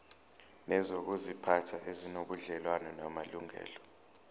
nezokuziphatha ezinobudlelwano namalungelo